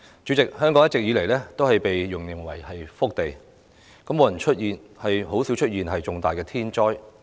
主席，香港一直被形容為福地，很少出現重大天災。